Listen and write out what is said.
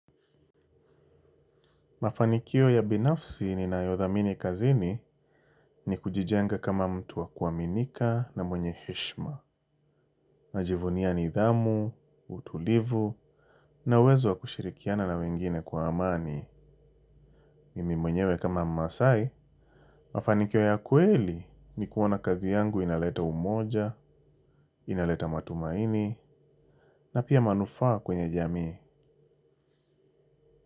Mafanikio ya binafsi ninayothamini kazini ni kujijenga kama mtu wa kuaminika na mwenye heshima. Najivunia nidhamu, utulivu, na uwezo wa kushirikiana na wengine kwa amani. Mimi mwenyewe kama maasai, mafanikio ya kweli ni kuona kazi yangu inaleta umoja, inaleta matumaini, na pia manufaa kwenye jamii.